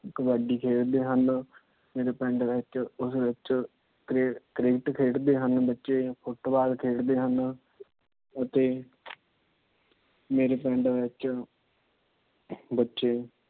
ਕਬੱਡੀ ਖੇਡਦੇ ਹਨ। ਮੇਰੇ ਪਿੰਡ ਵਿੱਚ ਉਸ ਵਿੱਚ ਕ੍ਰਿਕਟ ਖੇਡਦੇ ਹਨ ਬੱਚੇ ਫ਼ੁਟਬਾਲ ਖੇਡਦੇ ਹਨ। ਅਤੇ ਮੇਰੇ ਪਿੰਡ ਵਿੱਚ ਬੱਚੇ